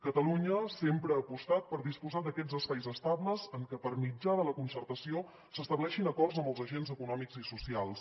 catalunya sempre ha apostat per disposar d’aquests espais estables en què per mitjà de la concertació s’estableixin acords amb els agents econòmics i socials